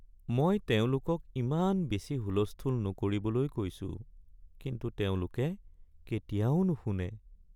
মই তেওঁলোকক ইমান বেছি হুলস্থূল নকৰিবলৈ কৈছো, কিন্তু তেওঁলোকে কেতিয়াও নুশুনে।